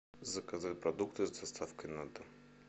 заказать продукты с доставкой на дом